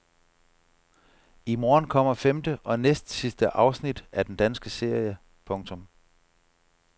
I morgen kommer femte og næstsidste afsnit af den danske serie. punktum